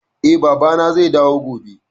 Eh, Baba na zai dawo gobe